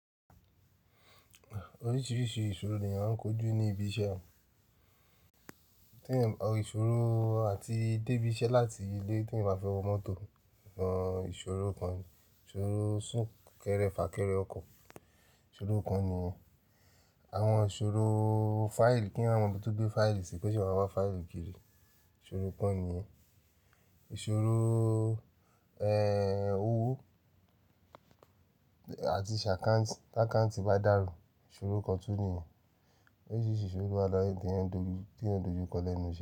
Oríṣìíríṣìí ìṣòro ni à ń kojú ní ibi iṣẹ́. Ìṣòro àti débí iṣẹ́ láti ilé tí ẹyan bá fẹ́ wo mọ́tò, ìṣòro kan ni. Ìṣòro súnkẹrẹ fàkẹrẹ ọkọ̀, ìṣòro kan ni. Àwọn ìṣòro fáìlì kí'yan má mobi tó gbé fáìlì sí i ko ṣé wa máa wá fáìlì kiri, ìṣòro kan ni. Ìṣòro, ẹ́, owó àti ṣà account, t'account bá dàrú, ìṣòro kan tún niyen. Oríṣìíríṣìí ìṣòro lówa laye tí eeyań n dójú kọ lẹ́nu iṣẹ́.